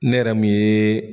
Ne yɛrɛ min ye.